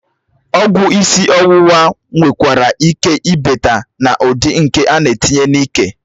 Ọgwụ isi ọwụwa nwekwara ike ịbata na ụdị nke ánà etinye n'ike